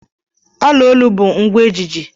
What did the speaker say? ọla olu bụ ngwa ejiji